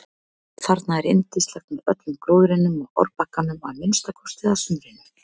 Þarna er yndislegt með öllum gróðrinum á árbakkanum að minnsta kosti að sumrinu.